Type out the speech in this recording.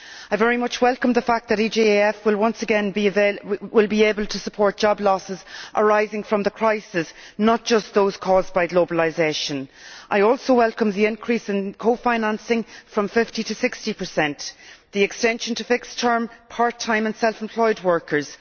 I very much welcome the fact that the EGF will once again be able to support job losses arising from the crisis, not just those caused by globalisation. I also welcome the increase in cofinancing from 50 to 60 the extension to fixed term, part time and self employed workers